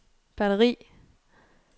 batteri